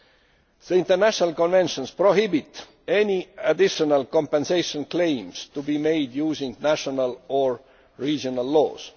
The international conventions prohibit any additional compensation claims being made using national or regional laws.